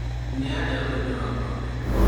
nĩ arĩa rũrĩmĩ rwa ng'ombe